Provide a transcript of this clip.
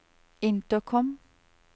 intercom